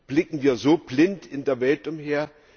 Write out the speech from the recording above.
Blicken wir so blind in der Welt umher?